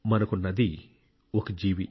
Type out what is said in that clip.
మనకు నది ఒక జీవి